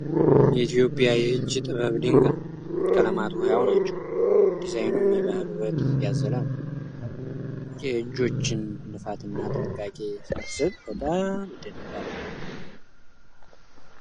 የኢትዮጵያ የእጅ ጥበብ ድንቅ ነው። ቀለማቱ ሕያው ናቸው፤ ዲዛይኑም የባህል ውበት ያዘለ ነው። የእጆችን ልፋት እና ጥንቃቄ ሳስብ በጣም እደነቃለሁ!